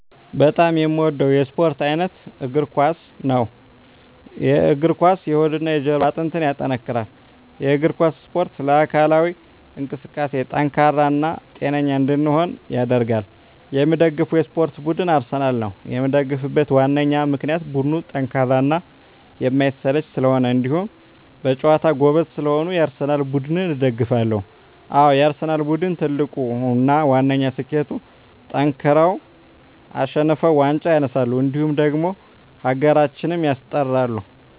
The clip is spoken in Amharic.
በጣም የምወደው የስፓርት አይነት የእግር ኳስ። የእግር ኳስ የሆድና የጀርባ አጥንትን ያጠነክራል። የእግር ኳስ እስፖርት ለአካላዊ እንቅስቃሴ ጠንካራ እና ጤነኛ እንድንሆን ያደርጋል። የምደግፈው የስፓርት ቡድን አርሰናል ነው። የምደግፍበት ዋነኛ ምክንያት ቡድኑ ጠንካራና የማይሰለች ስለሆኑ እንዲሁም በጨዋታቸው ጎበዝ ስለሆኑ የአርሰናል ቡድንን እደግፋለሁ። አዎ የአርሰናል ቡድን ትልቁና ዋነኛ ስኬቱጠንክረው አሸንፈው ዋንጫ ያነሳሉ እንዲሁም ደግሞ ሀገራችንም ያስጠራሉ።